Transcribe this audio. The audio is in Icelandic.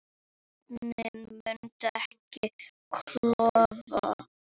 Vötnin munu ekki klofna